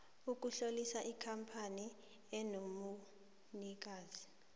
ukutlolisa ikampani enobunikazi